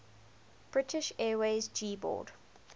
british airways g boad